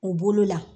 U bolo la